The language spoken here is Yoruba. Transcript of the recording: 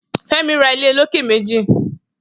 Femi rà ilé ólóké méji